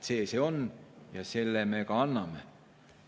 See see on ja selle me ka anname.